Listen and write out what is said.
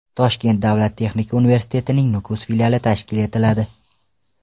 Toshkent davlat texnika universitetining Nukus filiali tashkil etiladi.